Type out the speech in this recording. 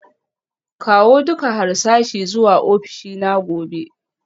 Kawo duka harsashi zuwa ofishina gobe